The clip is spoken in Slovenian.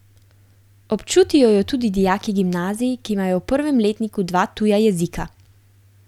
Občutijo jo tudi dijaki gimnazij, ki imajo v prvem letniku dva tuja jezika.